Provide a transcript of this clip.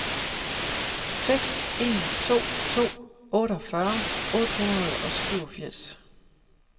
seks en to to otteogfyrre otte hundrede og syvogfirs